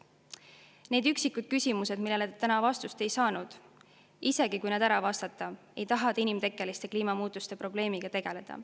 Isegi kui need üksikud küsimused, millele te täna vastust ei saanud, ära vastata, ei taha te inimtekkeliste kliimamuutuste probleemiga tegeleda.